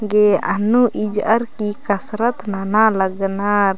गे अन्नू इजअर की कसरत नना लगनर।